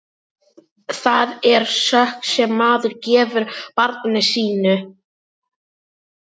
Það er sök sem maður gefur barni sínu.